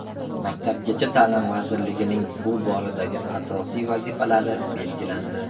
Maktabgacha ta’lim vazirligining bu boradagi asosiy vazifalari belgilandi.